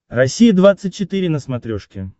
россия двадцать четыре на смотрешке